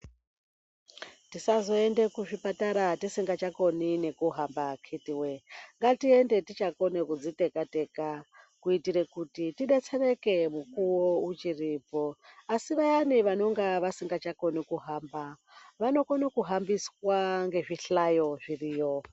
Tisazoende kuzvipatara tisingachakoni nekuhamba akiti wee. Ngatiende tichakone kudziteka-teka kuitire kuti tidetsereke mukuwo uchiripo. Asi vayani vanonga vasingachakoni kuhamba vanokone kuhambiswa ngezvihlayo zviriyo.